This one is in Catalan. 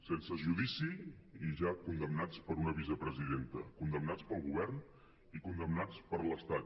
sense judici i ja condemnats per una vicepresidenta condemnats pel govern i condemnats per l’estat